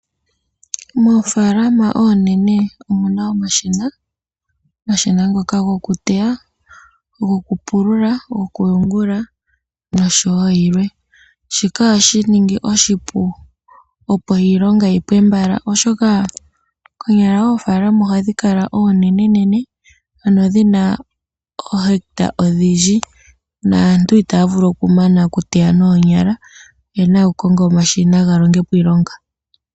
Moofalama onene omuna omashina, omashina ngoka goku teya, goku pulula noku yungula noshowo yilwe shika ohashi ningi oshipu opo iilonga yipwe mbala. Konyala oofalama ohadhi kala onenenene ano dhina ohecta odhindji naantu itaya vulu okumana oku teya nonyala eyena oku konga omashina galongepo iilonga.